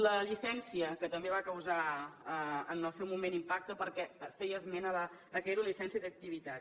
la llicència que també va causar en el seu moment impacte perquè feia esment del fet que era una llicència d’activitat